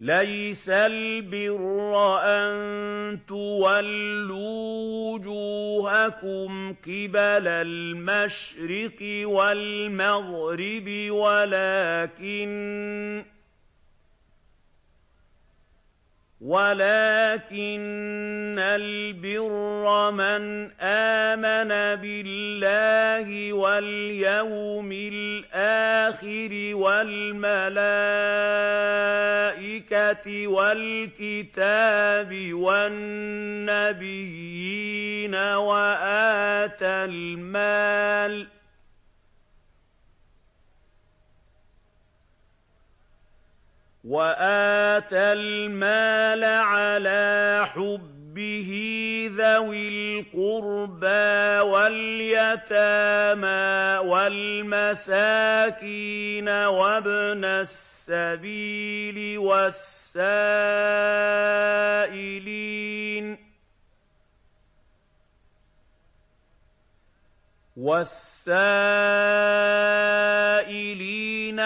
۞ لَّيْسَ الْبِرَّ أَن تُوَلُّوا وُجُوهَكُمْ قِبَلَ الْمَشْرِقِ وَالْمَغْرِبِ وَلَٰكِنَّ الْبِرَّ مَنْ آمَنَ بِاللَّهِ وَالْيَوْمِ الْآخِرِ وَالْمَلَائِكَةِ وَالْكِتَابِ وَالنَّبِيِّينَ وَآتَى الْمَالَ عَلَىٰ حُبِّهِ ذَوِي الْقُرْبَىٰ وَالْيَتَامَىٰ وَالْمَسَاكِينَ وَابْنَ السَّبِيلِ وَالسَّائِلِينَ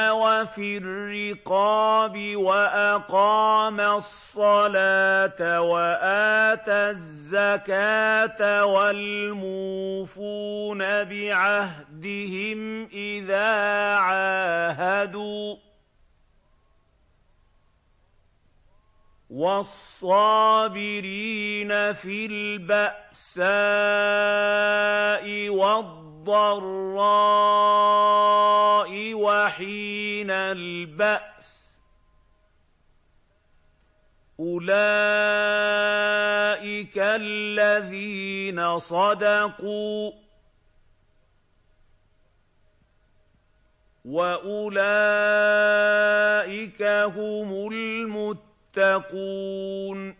وَفِي الرِّقَابِ وَأَقَامَ الصَّلَاةَ وَآتَى الزَّكَاةَ وَالْمُوفُونَ بِعَهْدِهِمْ إِذَا عَاهَدُوا ۖ وَالصَّابِرِينَ فِي الْبَأْسَاءِ وَالضَّرَّاءِ وَحِينَ الْبَأْسِ ۗ أُولَٰئِكَ الَّذِينَ صَدَقُوا ۖ وَأُولَٰئِكَ هُمُ الْمُتَّقُونَ